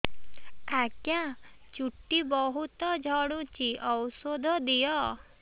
ଆଜ୍ଞା ଚୁଟି ବହୁତ୍ ଝଡୁଚି ଔଷଧ ଦିଅ